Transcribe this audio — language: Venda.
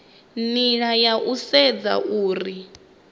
nila ya u sedza uri